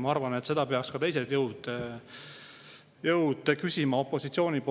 Ma arvan, et seda peaks ka teised jõud opositsioonist küsima